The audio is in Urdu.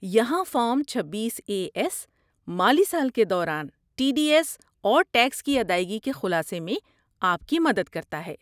یہاں فارم چھبیس اے ایس مالی سال کے دوران ٹی ڈی ایس اور ٹیکس کی ادائیگی کے خلاصے میں آپ کی مدد کرتا ہے